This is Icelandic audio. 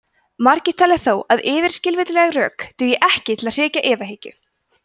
margir telja þó að yfirskilvitleg rök dugi ekki til að hrekja efahyggju